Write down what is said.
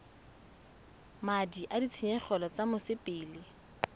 madi a ditshenyegelo tsa mosepele